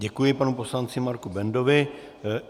Děkuji panu poslanci Marku Bendovi.